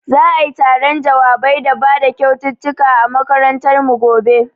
Za'ai taron jawabai da bada kyaututtukan a makarantar mu gobe.